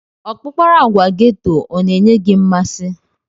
Ọkpụkpara agwa geto ọ na-enye gị mmasị?